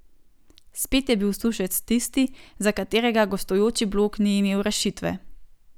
Spet je bil Sušec tisti, za katerega gostujoči blok ni imel rešitve.